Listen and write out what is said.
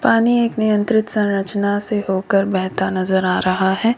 पानी एक नियंत्रित संरचना से होकर बहता नजर आ रहा है।